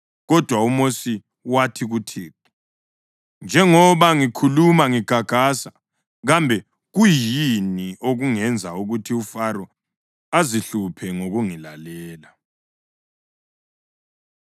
Kodwa uMosi wathi kuThixo, “Njengoba ngikhuluma ngigagasa, kambe kuyini okungenza ukuthi uFaro azihluphe ngokungilalela?”